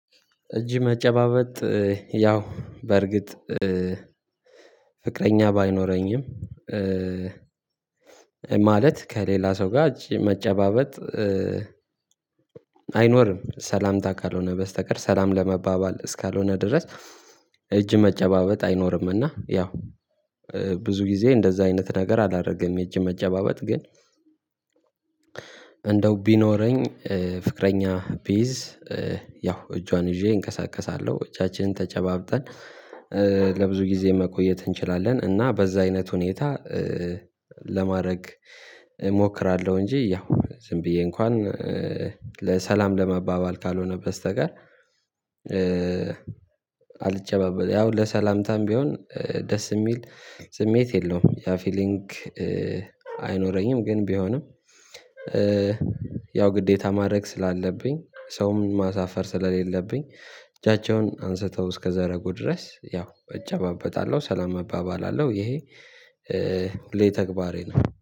እጅ መጨባበጥ ያው በርግጥ ፍቅረኛ ባይኖረኝም ማለት ከሌላ ሰው ጋር እጅ መጨባበጥ አይኖርም ሰላምታ ካልሆነ በስተቀር ሰላም ለመባባል እስካልሆነ ድረስ። እጅ መጨባበጥ አይኖርምና። ያው ብዙ ጊዜ እንደዛ አይነት ነገር አላደረገም። እጅ መጨባበጥ ግን እንደው ቢኖረኝ ፍቅረኛ ቢይዝ ያው እጇን ይዤ እንቀሳቀሳለሁ እጃችንን ተጨባብጠን ለብዙ ጊዜ መቆየት እንችላለን። እና በዛ አይነት ሁኔታ ለማድረግ እሞክራለሁ። እንጂ ያው ዝም ብዬ እንኳን ለሰላም ለመባባል ካልሆነ በስተቀር። አልጨባበል ያው ለሰላምታም ቢሆን ደስ የሚል ስሜት የለውም ያ ፊሊንግ አይኖረኝም። ግን ቢሆንም ያው ግዴታ ማድረግ ስላለብኝ ሰውም ማሳፈር ስለሌለብኝ እጃቸውን አንስተው እስከዛረጉ ድረስ ያው እጫባበጣለሁ ሰላም እባባላለሁ። ይሄ ሁሌ ተግባሬ ነው